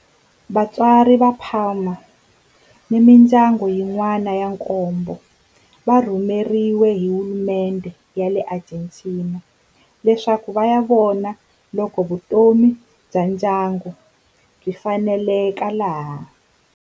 Vatswari va Palma ni mindyangu yin'wana ya nkombo va rhumeriwe hi hulumendhe ya le Argentina leswaku va ya vona loko vutomi bya ndyangu byi faneleka laha.